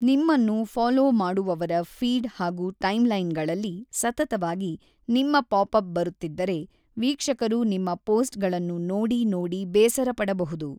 .ನಿಮ್ಮನ್ನು ಫಲೋ ಮಾಡುವವರ ಫೀಡ್‌ ಹಾಗೂ ಟೈಮ್‌ಲೈನ್‌ಗಳಲ್ಲಿ ಸತತವಾಗಿ ನಿಮ್ಮ ಪಾಪ್ ಅಪ್ ಬರುತ್ತಿದ್ದರೆ ವೀಕ್ಷಕರು ನಿಮ್ಮ ಪೋಸ್ಟ್ಗಳನ್ನು ನೋಡಿ ನೋಡಿ ಬೇಸರಪಡಬಹುದು